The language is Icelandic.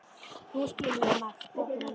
Nú skil ég margt betur en áður.